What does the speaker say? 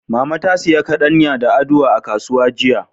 Mama ta sayi kaɗanya da aduwa a kasuwa jiya.